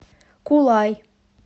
кулай